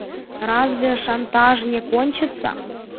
разве шантаж не кончится